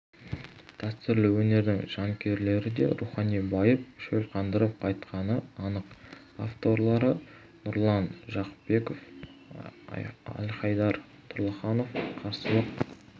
дәстүрлі өнердің жанкүйерлері де рухани байып шөл қандырып қайтқаны анық авторлары нұрлан жақыпбеков әлхайдар тұрлыханов қарсылық